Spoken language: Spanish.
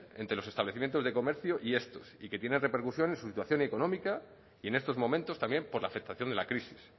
entre los establecimientos de comercio y esto y que tiene repercusión en su situación económica y en estos momentos también por la afectación de la crisis